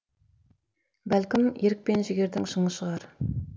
бәлкім ерік пен жігердің шыңы шығар